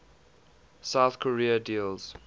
south korea deals